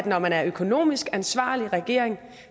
når man er en økonomisk ansvarlig regering